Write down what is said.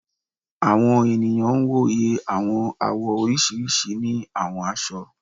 Àwọn ènìyàn wò yẹ àwọn àwọ̀ oríṣiríṣi ni àwọn aṣọ